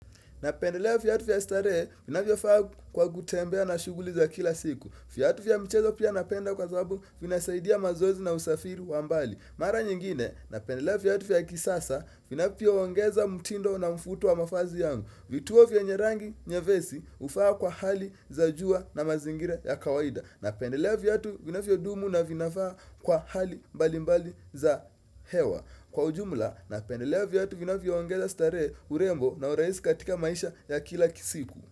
Napendelea viatu vya starehe ninavyovaa kwa kutembea na shughuli za kila siku. Viatu vya mchezo pia napenda kwa sababu vinasaidia mazoezi na usafiri wa mbali. Mara nyingine napendelea viatu vya kisasa vinavyoongeza mutindo na mvuto wa mavazi yangu. Vituo vya yenye rangi nyepesi huvaa kwa hali za jua na mazingira ya kawaida. Napendelea viatu vinavyodumu na vinafaa kwa hali mbali mbali za hewa. Kwa ujumla napendelea viatu vinavyo ongeza ongeza starehe urembo na urahisi katika maisha ya kila siku.